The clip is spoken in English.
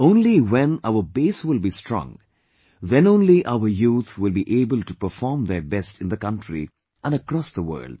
only when our base will be strong, then only our youth will be able to perform their best in the country and across the world